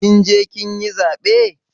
Kin je kin yi zaɓe?